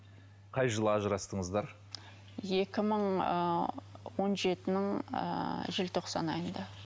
қай жылы ажырастыңыздар екі мың ыыы он жетінің ыыы желтоқсан айында